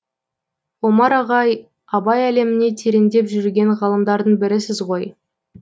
омар ағай абай әлеміне тереңдеп жүрген ғалымдардың бірісіз ғой